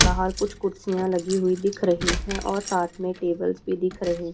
बाहर कुछ कुर्सियां लगी हुई दिख रही है और साथ मे टेबल्स भी दिख रहे--